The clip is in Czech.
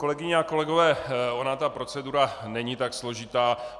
Kolegyně a kolegové, ona ta procedura není tak složitá.